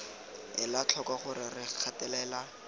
ela tlhoko gore re gatelela